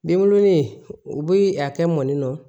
Denwolonin u bi a kɛ mɔni na